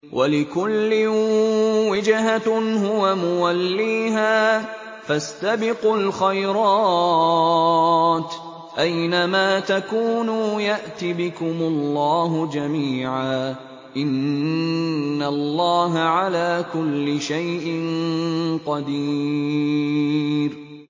وَلِكُلٍّ وِجْهَةٌ هُوَ مُوَلِّيهَا ۖ فَاسْتَبِقُوا الْخَيْرَاتِ ۚ أَيْنَ مَا تَكُونُوا يَأْتِ بِكُمُ اللَّهُ جَمِيعًا ۚ إِنَّ اللَّهَ عَلَىٰ كُلِّ شَيْءٍ قَدِيرٌ